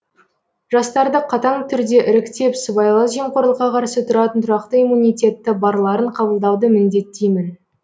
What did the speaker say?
жастарды қатаң түрде іріктеп сыбайлас жемқорлыққа қарсы тұратын тұрақты иммунитеті барларын қабылдауды міндеттеймін